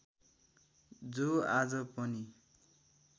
जो आज पनि